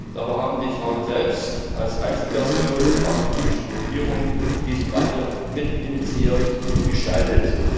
Dabei haben die Frauen selbst als Einzelpersonen und frauenpolitische Gruppierungen diesen Wandel mitinitiiert und gestaltet.